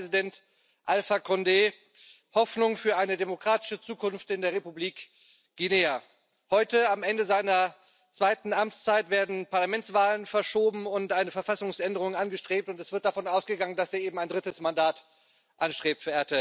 Einst war Präsident Alpha Condé Hoffnung für eine demokratische Zukunft in der Republik Guinea. Heute, am Ende seiner zweiten Amtszeit, werden Parlamentswahlen verschoben und eine Verfassungsänderung angestrebt, und es wird davon ausgegangen, dass er eben ein drittes Mandat anstrebt.